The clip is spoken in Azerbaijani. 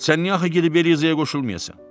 Sən niyə axı gedib Eliziya qoşulmayasan?